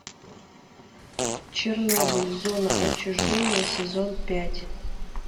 чернобыль зона отчуждения сезон пять